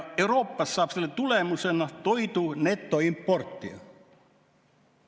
Euroopast saab selle tulemusena toidu netoimportija.